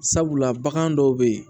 Sabula bagan dɔw bɛ yen